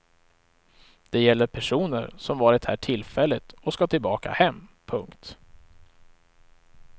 Det gäller personer som varit här tillfälligt och ska tillbaka hem. punkt